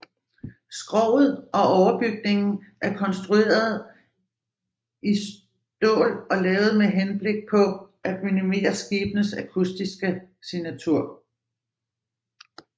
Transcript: Skroget og overbygningen er konstrueret i står og lavet med henblik på at minimere skibenes akustiske signatur